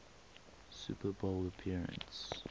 super bowl appearance